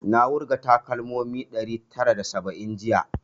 Na wurga takalmomi ɗari tara da saba'in jiya